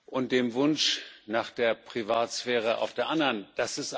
und dem Wunsch nach Privatsphäre auf der anderen Seite.